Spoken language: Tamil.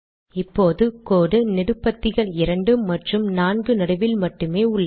இப்போது கோடு நெடுபத்திகள் இரண்டு மற்றும் நான்கு நடுவில் மட்டுமே உள்ளது